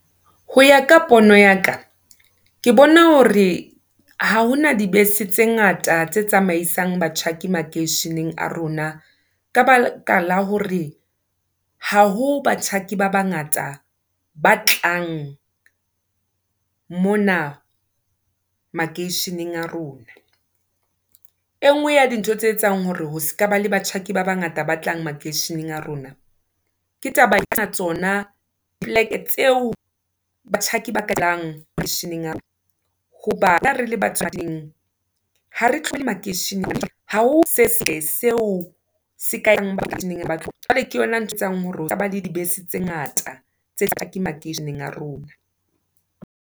Ho ya ka pono ya ka, ke bona hore ha ho na dibese tse ngata tse tsamaisang batjhaki makeisheneng a rona, ka baka la hore. Ha ho batjhaki ba bangata ba tlang mona makeisheneng a rona. E nngwe ya dintho tse etsang hore ho se ka ba le batjhaki ba bangata ba tlang makeisheneng a rona. Ke taba tsona poleke tseo batjhaki ba a rona, hobane re le ba ha re tlohe makeisheneng. Ha ho se seo se . Jwale ke yona ntho etsang hore ho se ke ha ba le dibese tse ngata, tse makeisheneng a rona.